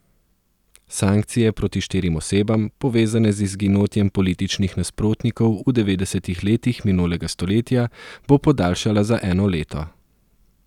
Sankcije proti štirim osebam, povezane z izginotjem političnih nasprotnikov v devetdesetih letih minulega stoletja, bo podaljšala za eno leto.